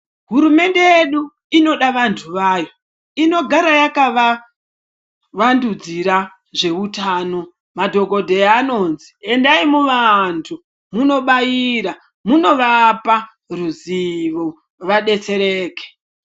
Hurumende yedu inoda vantu vayo inogara yakava wadhudzira zveutano , madhongodheya anodzi endaii muvantu munobaira ,munovapa ruzivo vabetsereke.